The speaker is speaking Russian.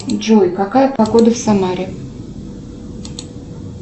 джой какая погода в самаре